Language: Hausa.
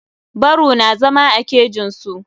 Baru na zama a kejin su.